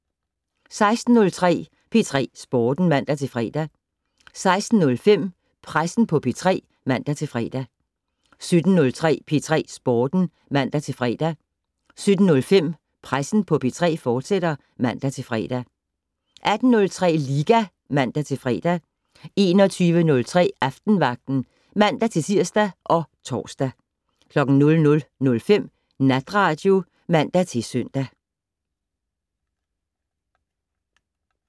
16:03: P3 Sporten (man-fre) 16:05: Pressen på P3 (man-fre) 17:03: P3 Sporten (man-fre) 17:05: Pressen på P3, fortsat (man-fre) 18:03: Liga (man-fre) 21:03: Aftenvagten (man-tir og tor) 00:05: Natradio (man-søn)